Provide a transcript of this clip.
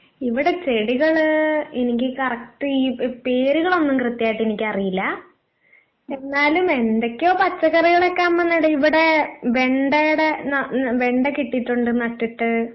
ഇവിടെ ചെടികള് എനിക്ക് കറക്റ്റ് ഈ പേരുകളൊന്നും കൃത്യായിട്ട് എനിക്കറിയില്ല. എന്നാലും എന്തെക്കെയോ പച്ചക്കറികളൊക്കെ അമ്മ നട്‌ ഇവിടെ വെണ്ടേടെ നാ വെണ്ട കിട്ടീട്ടുണ്ട് നട്ടിട്ട്